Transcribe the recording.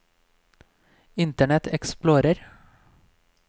internet explorer